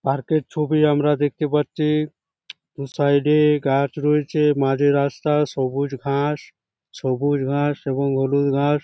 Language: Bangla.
পার্কের ছবি আমরা দেখতে পাচ্ছি সাইড এ গাছ রয়েছে মাঝে রাস্তা সবুজ ঘাস সবুজ ঘাস এবং হলুদ ঘাস।